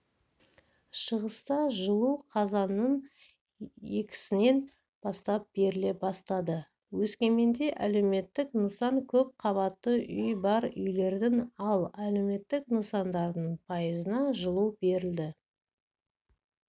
шығыста жылу қазанның екісінен бастап беріле басатады өскеменде әлеуметтік нысан көп қабатты үй бар үйлердің ал әлеуметтік нысандардың пайызына жылу берілді